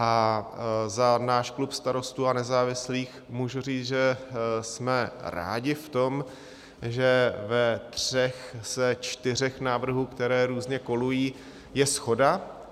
A za náš klub Starostů a nezávislých můžu říct, že jsme rádi v tom, že ve třech ze čtyř návrhů, které různě kolují, je shoda.